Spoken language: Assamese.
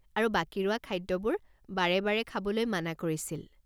আৰু বাকী ৰোৱা খাদ্যবোৰ বাৰে বাৰে খাবলৈ মানা কৰিছিল।